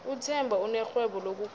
uthemba unerhwebo lokugwala